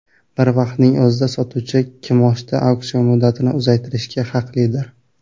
Bir vaqtning o‘zida sotuvchi kimoshdi auksion muddatini uzaytirishga haqlidir.